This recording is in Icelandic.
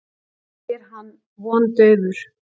spyr hann vondaufur.